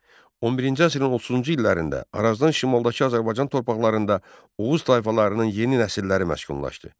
11-ci əsrin 30-cu illərində Arazdan şimaldakı Azərbaycan torpaqlarında Oğuz tayfalarının yeni nəsilləri məskunlaşdı.